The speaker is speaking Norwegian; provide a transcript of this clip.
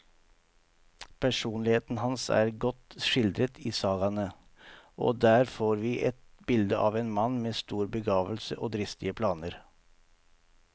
Personligheten hans er godt skildret i sagaene, og der får vi et bilde av en mann med stor begavelse og dristige planer.